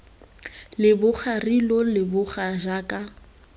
leboga re lo leboga jaaka